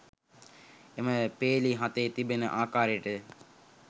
එම පේලි හතේ තිබෙන ආකාරයට ය